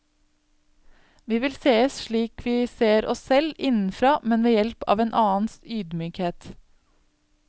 Vi vil sees slik vi ser oss selv, innenfra, men ved hjelp av en annens ydmykhet.